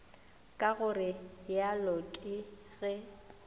ka go realo ke ge